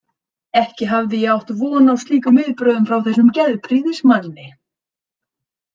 Ekki hafði ég átt von á slíkum viðbrögðum frá þessum geðprýðismanni.